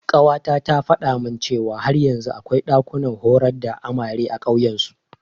Ƙawata ta faɗa min cewa har yanzu akwai ɗakunan horar da amare a ƙauyen su.